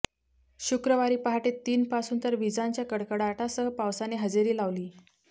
शुक्रवारी पहाटे तीनपासून तर विजांच्या कडकडाटासह पावसाने हजेरी लावली़